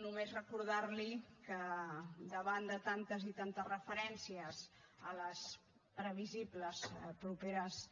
només recordarli que davant de tantes i tantes referències a les previsibles properes